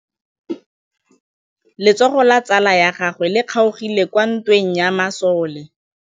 Letsôgô la tsala ya gagwe le kgaogile kwa ntweng ya masole.